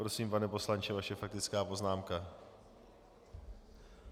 Prosím, pane poslanče, vaše faktická poznámka.